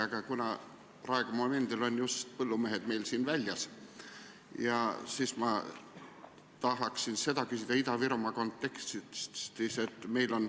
Aga kuna praegu on just põllumehed meil siin väljas, siis tahan ma küsida Ida-Virumaa kontekstis.